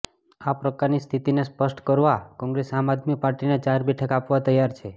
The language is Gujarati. આ પ્રકારની સ્થિતિને સ્પષ્ટ કરવા કોંગ્રેસ આમ આદમી પાર્ટીને ચાર બેઠક આપવા તૈયાર છે